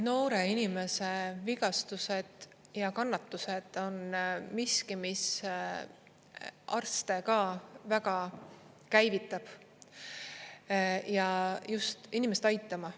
Noore inimese vigastused ja kannatused on miski, mis arste ka väga käivitab just inimest aitama.